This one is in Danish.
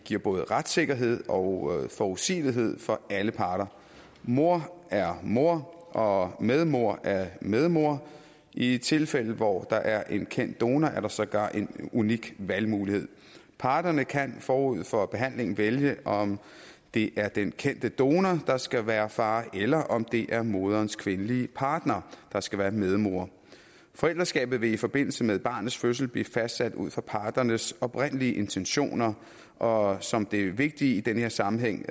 giver både retssikkerhed og forudsigelighed for alle parter mor er mor og medmor er medmor i tilfælde hvor der er en kendt donor er der sågar en unik valgmulighed parterne kan forud for behandlingen vælge om det er den kendte donor der skal være far eller om det er morens kvindelige partner der skal være medmor forældreskabet vil i forbindelse med barnets fødsel blive fastsat ud fra parternes oprindelige intentioner og som det er vigtigt i den her sammenhæng